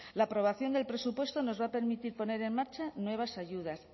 la aprobación del presupuesto nos va a permitir poner en marcha nuevas ayudas